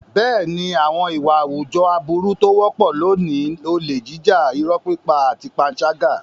Bẹ́ẹ̀ni, àwọn ìwà àwùjọ aburú tó wọ́pọ̀ lónìí ni olè jíjà, irọ́ pípa àti panṣágà.